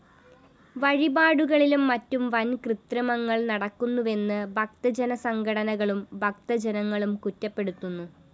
വഴിപാടുകളിലും മറ്റും വന്‍കൃത്രിമങ്ങള്‍ നടക്കുന്നുവെന്ന് ഭക്തജനസംഘടനകളും ഭക്തജനങ്ങളും കുറ്റപ്പെടുത്തുന്നു